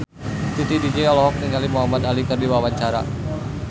Titi DJ olohok ningali Muhamad Ali keur diwawancara